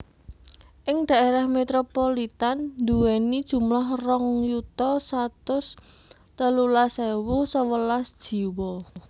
Ing daerah metropolitan nduweni jumlah rong yuta satus telulas ewu sewelas jiwa